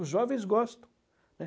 Os jovens gostam.